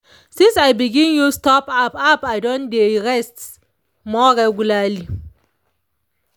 since i begin use stop app app i don dey rest more regularly.